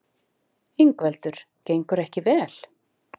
Ingveldur: Gengur ekki vel?